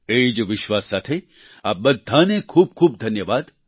એ જ વિશ્વાસ સાથે આપ બધાને ખૂબ ખૂબ ધન્યવાદ